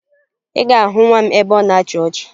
Ị ga-ahụ nwa m ebe ọ na-achị ọchị